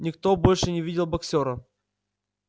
никто больше не видел боксёра